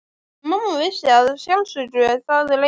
En mamma vissi að sjálfsögðu það leyndarmál.